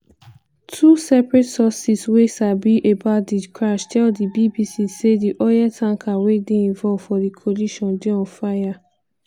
two separate sources wey sabi about di crash tell di bbc say di oil tanker wey dey involve for di collision dey on fire.